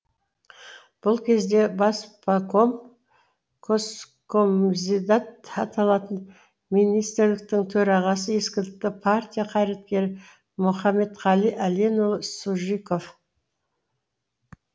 бұл кезде баспаком госкомизидат аталатын министрліктің төрағасы ескілікті партия қайраткері мұхаметқали әленұлы сужиков